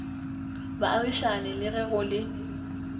baagišane le ge go le